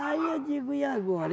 Aí eu digo, e agora?